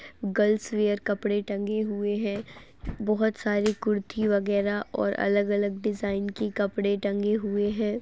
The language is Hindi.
गर्ल्स वियर कपड़े टंगे हुए हैं। बहोत साड़ी कुर्ती वग़ैरा और अलग-अलग डिज़ाइन की कपड़े टंगे हुए हैं।